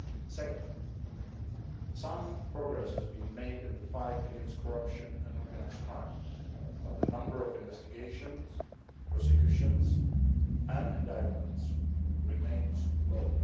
Secondly, some progress has been made in the fight against corruption and organised crime, but the number of investigations, prosecutions and indictments remains low.